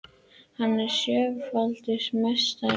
Hann er sjöfaldur meistari